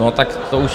No, tak to už...